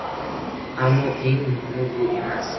Ammo eng muhimi bu emas.